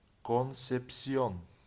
консепсьон